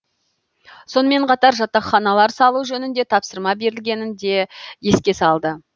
сонымен қатар жатақханалар салу жөнінде тапсырма берілгенін де еске салды